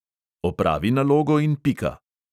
Opravi nalogo in pika!